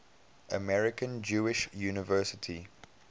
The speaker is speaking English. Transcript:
american jewish university